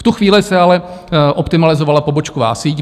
V tu chvíli se ale optimalizovala pobočková síť.